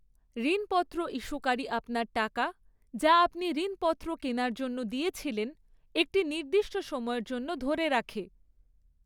ঋণপত্র ইস্যুকারী আপনার টাকা, যা আপনি ঋণপত্র কেনার জন্য দিয়েছিলেন, একটি নির্দিষ্ট সময়ের জন্য ধরে রাখে।